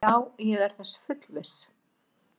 Já, ég er þess fullviss.